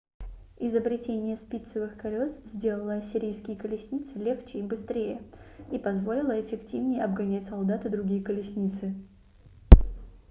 изобретение спицевых колес сделало ассирийские колесницы легче и быстрее и позволило эффективнее обгонять солдат и другие колесницы